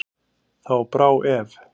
Þá brá ef.